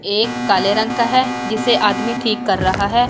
एक काले रंग का है जिसे आदमी ठीक कर रहा है।